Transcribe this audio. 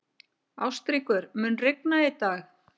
Ástríkur, mun rigna í dag?